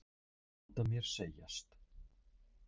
Að láta mér segjast?